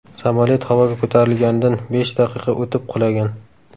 Samolyot havoga ko‘tarilganidan besh daqiqa o‘tib qulagan.